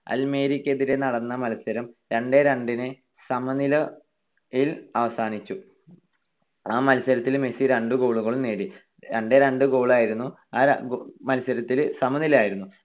അൽമേരിക്കെതിരെ നടന്ന മത്സരം രണ്ട് -രണ്ട് ന് സമനിലയിൽ അവസാനിച്ചു. ആ മത്സരത്തിൽ മെസ്സി രണ്ട് goal കൾ നേടി. രണ്ടേരണ്ട്‍ goal ആയിരുന്നു. ആ മത്സരത്തിൽ സമനിലയായിരുന്നു.